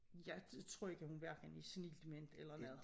Jeg tror ikke hun hverken er senil dement eller noget